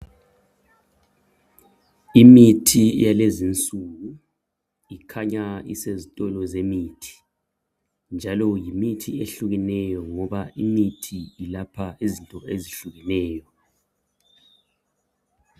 Imithi yalezi insuku ikhanya isezitolo zemithi, njalo yimithi ehlukeneyo ngoba imithi ilapha izinto ezehlukileyo.